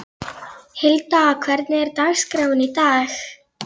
Hilda, hvernig er dagskráin í dag?